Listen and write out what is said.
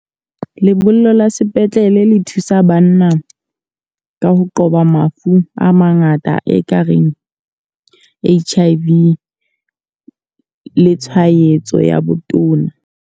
Lebollo la sepetlele le thusa banna ka ho qoba mafu a mangata e ka reng H_I_V le tshwaetso ya botona.